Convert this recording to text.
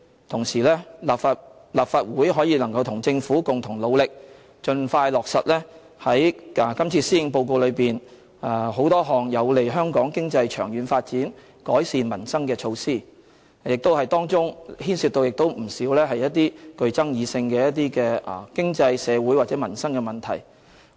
同時，立法會能夠與政府共同努力，盡快落實今次施政報告中多項有利香港經濟長遠發展、改善民生的措施，當中不少牽涉具爭議性的經濟、社會和民生問題。